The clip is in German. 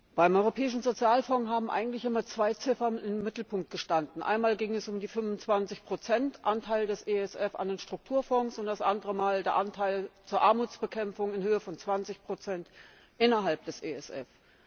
Beim Europäischen Sozialfonds haben eigentlich immer zwei Ziffern im Mittelpunkt gestanden Einmal ging es um die 25 Anteil des ESF an den Strukturfonds und das andere Mal um den Anteil zur Armutsbekämpfung in Höhe von 20 innerhalb des ESF.